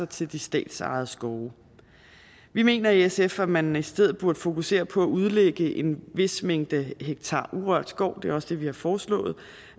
til de statsejede skove vi mener i sf at man i stedet burde fokusere på at udlægge en vis mængde hektarer urørt skov det er også det vi har foreslået